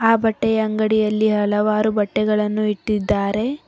ಆ ಬಟ್ಟೆಯ ಅಂಗಡಿಯಲ್ಲಿ ಹಲವಾರು ಬಟ್ಟೆಗಳನ್ನು ಇಟ್ಟಿದ್ದಾರೆ.